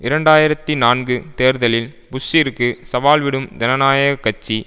இரண்டு ஆயிரத்தி நான்கு தேர்தலில் புஷ்சிற்கு சவால்விடும் ஜனநாயக கட்சி